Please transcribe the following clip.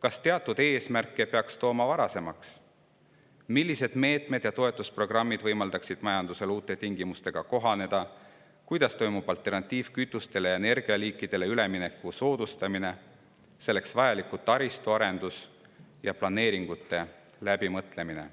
kas teatud eesmärke peaks tooma varasemaks, millised meetmed ja toetusprogrammid võimaldaksid majandusel uute tingimustega kohaneda ning kuidas soodustatakse alternatiivsetele kütustele ja energialiikidele üleminekut ning selleks vajaliku taristu arendust ja planeeringute läbimõtlemist.